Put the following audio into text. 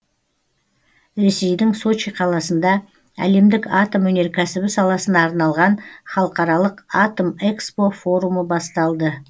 ресейдің сочи қаласында әлемдік атом өнеркәсібі саласына арналған халықаралық атомэкспо форумы басталды